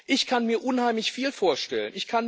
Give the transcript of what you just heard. Ich kann mir unheimlich viel vorstellen.